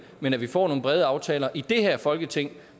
men at vi får nogle brede aftaler i det her folketing